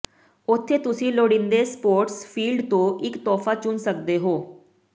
ਉੱਥੇ ਤੁਸੀਂ ਲੋੜੀਂਦੇ ਸਪੋਰਟਸ ਫੀਲਡ ਤੋਂ ਇੱਕ ਤੋਹਫਾ ਚੁਣ ਸਕਦੇ ਹੋ